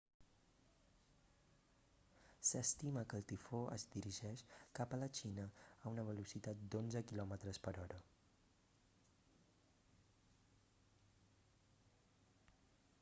s'estima que el tifó es dirigeix cap a la xina a una velocitat d'onze km/h